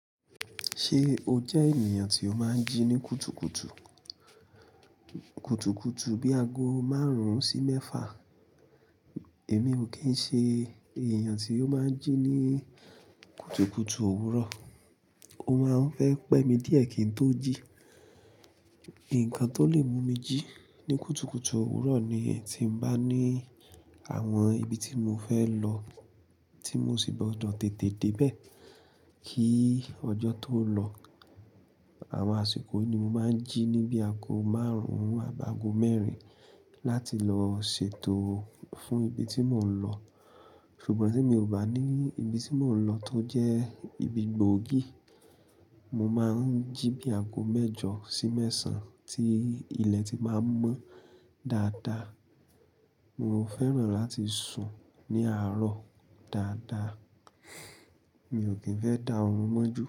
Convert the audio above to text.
Ṣé o jẹ́ ènìyàn tí ó máa ń jí ní kùtùkùtù? Kùtùkùtù bíi ago márùn-ún sí mẹ́fa. Èmi ò kí ń ṣe ènìyàn tí ó máa ń jí ní kùtùkùtù òwúrọ̀. Ó máa ń fẹ́ pẹ́ mi díẹ̀ kí n tó jí. Nnkan tó lè mú mi jí ní kùtùkùtù òwúrọ̀ ni tí mo bá ní àwọn ibi tí mo fẹ́ lọ tí mo sì gbọdọ tètè dé bẹ kí ọjọ́ tó lọ. Àwọn àsìkò yìí ni mo máa ń jí ní bí i ago márùn-ún àbáago mẹ́rin láti lọ ṣètò fún ibi tí mò ń lọ. Ṣùgbọ́n tí mi ò bá ní ibi tí mò ń lọ tó jẹ́ ibi gbòógì, mo máa ń jí bí i ago mẹ́jọ sí mẹ́sàn-án tí ilẹ̀ ti máa ń mọ́ dáadáa. Mo fẹ́ràn láti sùn ní àárọ̀ dáadáa. Mi ò kín fẹ́ dá orun mọ́ ju.